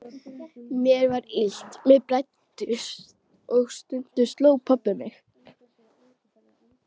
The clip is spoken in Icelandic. Mér var illt, mér blæddi og stundum sló pabbi mig.